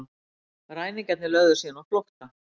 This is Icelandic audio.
Ræningjarnir lögðu síðan á flótta